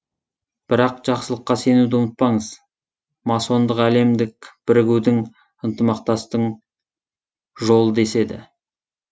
бірақ жақсылыққа сенуді ұмытпаңыз масондық әлемдік бірігудің ынтымақтастың жолы деседі